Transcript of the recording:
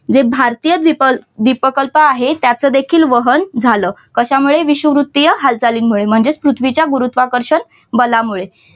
जे भारतीय द्वीप द्वीपकल्प आहे त्याच देखील वहन झालं, कशामुळे विषुववृत्तीय हालचालींमुळे म्हणजेच पृथ्वीच्या गुरुत्वाकर्षण बलामुळे